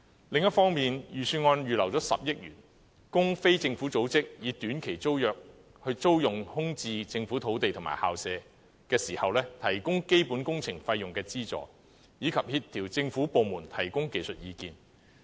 另一方面，預算案預留了10億元，供非政府組織以短期租約租用空置政府土地及校舍時，提供基本工程費用資助，以及協調政府部門提供技術意見。